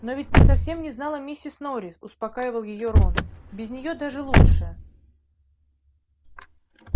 но ведь ты совсем не знала миссис норрис успокаивал её рон без нее даже лучше